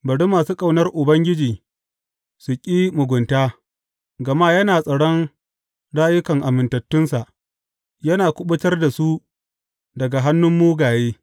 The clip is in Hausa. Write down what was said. Bari masu ƙaunar Ubangiji su ƙi mugunta, gama yana tsaron rayukan amintattunsa yana kuma kuɓutar da su daga hannun mugaye.